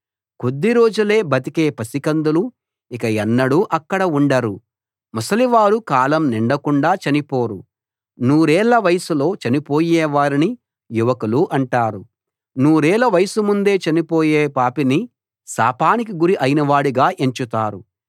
కొద్దిరోజులే బతికే పసికందులు ఇక ఎన్నడూ అక్కడ ఉండరు ముసలివారు కాలం నిండకుండా చనిపోరు నూరేళ్ళ వయసులో చనిపోయేవారిని యువకులు అంటారు నూరేళ్ళ వయసు ముందే చనిపోయే పాపిని శాపానికి గురి అయినవాడుగా ఎంచుతారు